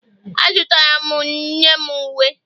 A zụtara m nne m uwe